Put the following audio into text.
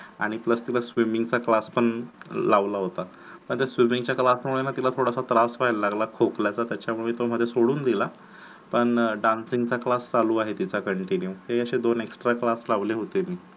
आणि plus तिला swimming चा class पण लावला होता. मग ते swimming च्या class मुळे न तिला थोडासा त्रास व्ह्यायला लागला खोकल्याचा त्याच्या मुळे तो मध्ये सोडून दिला पण dancing चा class चालू आहे तिचा continue तरी असे दोन extra class लावले होते मी